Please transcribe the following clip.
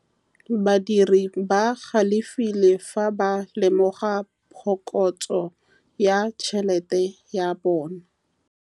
Badiri ba galefile fa ba lemoga phokotsô ya tšhelête ya bone.